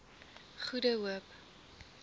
goede hoop